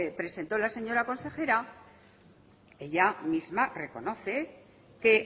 presentó la señora consejera ella misma reconoce que